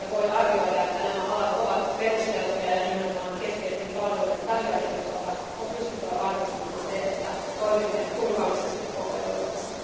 Voidaan arvioida, että nämä alat ovat perusteltuja, ja nimenomaan keskeisten palveluiden tarjoajien osalta on pystyttävä varmistamaan se, että toimimme turvallisesti koko Euroopassa.